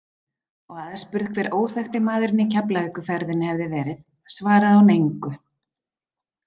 Og aðspurð hver óþekkti maðurinn í Keflavíkurferðinni hefði verið, svaraði hún engu.